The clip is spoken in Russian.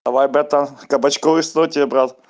давай братан кабачковый слой тебе брат